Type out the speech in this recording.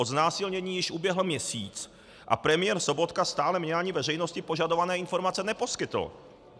Od znásilnění již uběhl měsíc a premiér Sobotka stále mně ani veřejnosti požadované informace neposkytl.